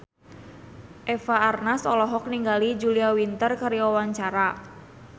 Eva Arnaz olohok ningali Julia Winter keur diwawancara